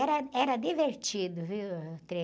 Era, era divertido, viu, o trem?